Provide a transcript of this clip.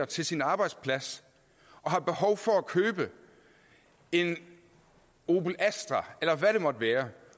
til sin arbejdsplads og har behov for at købe en opel astra eller hvad det måtte være